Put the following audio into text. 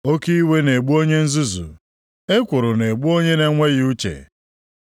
Oke iwe na-egbu onye nzuzu, ekworo na-egbu onye na-enweghị uche.